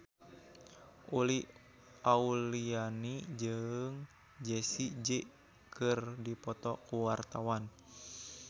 Uli Auliani jeung Jessie J keur dipoto ku wartawan